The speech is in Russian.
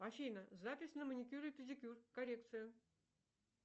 афина запись на маникюр и педикюр коррекция